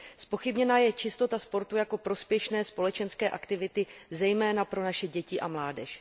Zpochybněna je čistota sportu jako prospěšné společenské aktivity, zejména pro naše děti a mládež.